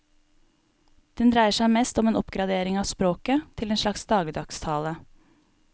Den dreier seg mest om en oppgradering av språket, til en slags dagligdags tale.